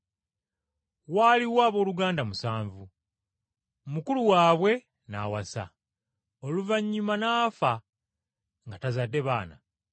Waaliwo abooluganda musanvu, mukulu waabwe n’awasa, Oluvannyuma n’afa nga tazadde baana.